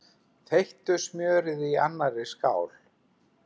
Þeyttu smjörið í annarri skál.